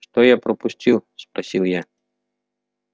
что я пропустил спросил я